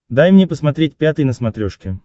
дай мне посмотреть пятый на смотрешке